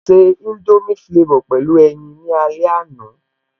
Mo se indomie flavor pẹ̀lú ẹyin ní alẹ́ àná